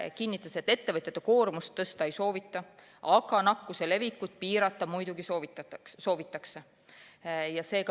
Ta kinnitas, et ettevõtjate koormust tõsta ei soovita, aga nakkuse levikut piirata muidugi soovitakse.